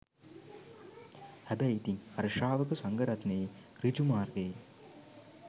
හැබැයි ඉතින් අර ශ්‍රාවක සංඝරත්නයේ ඍජු මාර්ගයේ